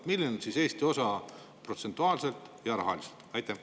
Milline on Eesti osa protsentuaalselt ja rahaliselt?